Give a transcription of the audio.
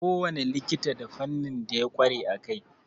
Kowane likita da fannin da ya ƙware a kai.